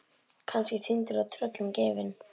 Kannski týndur og tröllum gefinn.